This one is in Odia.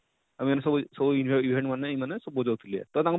ଇମାନେ ସବୁ ସବୁ event event ଇମାନେ ମାନେ ଜଉ ଥିଲେ ତ ତାଙ୍କର,